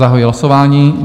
Zahajuji hlasování.